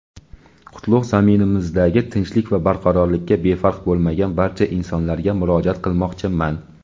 qutlug‘ zaminimizdagi tinchlik va barqarorlikka befarq bo‘lmagan barcha insonlarga murojaat qilmoqchiman.